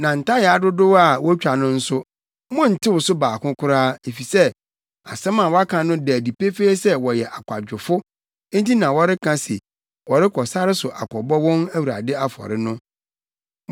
Na ntayaa dodow a wotwa no nso, monntew so baako koraa, efisɛ asɛm a wɔaka no da no adi pefee sɛ wɔyɛ akwadwofo nti na wɔreka se wɔrekɔ sare so akɔbɔ wɔn Awurade afɔre no.